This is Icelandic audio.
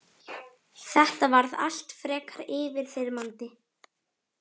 Þetta varð allt frekar yfirþyrmandi.